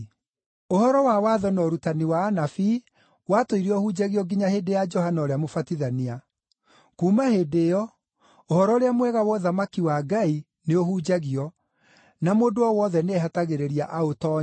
“Ũhoro wa Watho na ũrutani wa Anabii watũire ũhunjagio nginya hĩndĩ ya Johana ũrĩa Mũbatithania. Kuuma hĩndĩ ĩyo, Ũhoro-ũrĩa-Mwega wa ũthamaki-wa-Ngai nĩ ũhunjagio, na mũndũ o wothe nĩehatagĩrĩria aũtoonye.